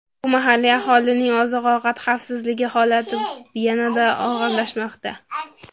Bu mahalliy aholining oziq-ovqat xavfsizligi holatini yanada og‘irlashtirmoqda.